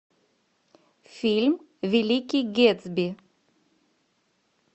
фильм великий гэтсби